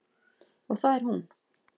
Og það er hún.